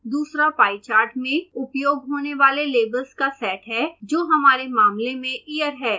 दूसरा pie chart में उपयोग होने वाले labels का सेट है जो हमारे मामले में year है